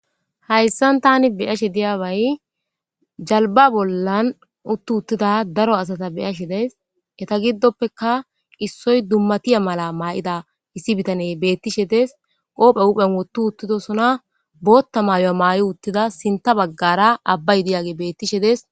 hayssan tani beyashe diyabay jalba bollan uttu uttida daro asata beyashe deys eta giddoppeka issoy dummatiya mala maa7ida issi bitane beettishe des qoophe uphen wottu uttidosona bootta maayo maayi uttida sinta baggara abbay diyaage beettishe des